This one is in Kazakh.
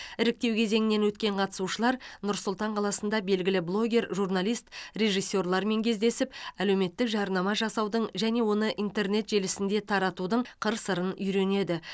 іріктеу кезеңінен өткен қатысушылар нұр сұлтан қаласында белгілі блогер журналист режиссерлармен кездесіп әлеуметтік жарнама жасаудың және оны интернет желісінде таратудың қыр сырын үйренеді